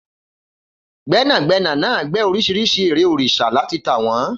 Gbẹ́nàgbẹ́nà náà gbẹ́ oríṣiríṣi ère òrìṣà láti tà wọ́n